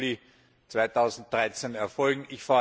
1. Juli 2013 erfolgen.